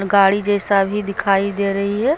गाड़ी जैसा भी दिखाई दे रही है।